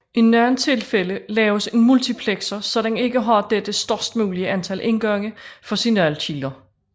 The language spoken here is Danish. I nogle tilfælde laves en multiplexer så den ikke har dette størst mulige antal indgange for signalkilder